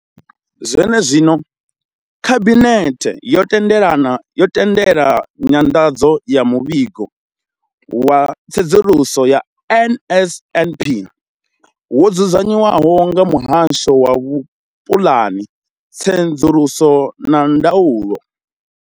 Zwenezwino, khabinethe yo tendelana yo tendela nyanḓadzo ya muvhigo wa tsedzuluso ya NSNP wo dzudzanywaho nga muhasho wa vhupulani, tsedzuluso na ndaulo.